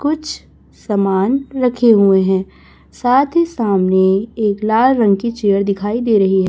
कुछ समान रखे हुए हैं साथ ही सामने एक लाल रंग की चेयर दिखाई दे रही--